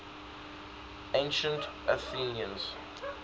ancient athenians